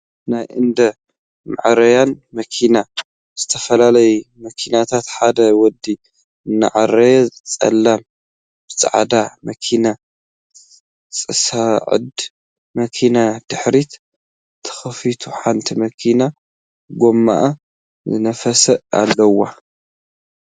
ናይ እንዳ መዐረያይ መኪና ዝተየፈላለያ መኪናታት ሓደ ወዲ እናዐረየን ፀላም ብፃዕዳ መኪና፣ ፀሣዕዳ መኪና ድሕሪታ ተከፊታ ሓንቲ መኪና ጎማኣ ዝነፈሰት ኣለዋ።